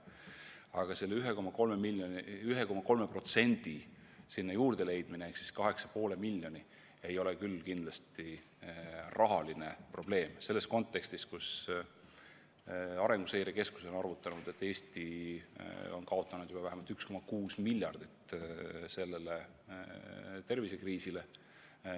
Aga selle 1,3% ehk 8,5 miljoni juurde leidmine ei ole küll kindlasti rahaline probleem selles kontekstis, kus Arenguseire Keskus on arvutanud, et Eesti on kaotanud juba vähemalt 1,6 miljardit selle tervisekriisi tõttu.